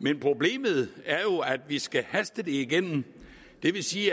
men problemet er jo at vi skal haste det igennem det vil sige at